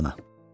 Londana.